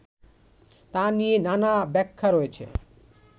তা নিয়ে নানা ব্যাখ্যা রয়েছে